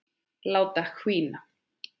Láta hvína.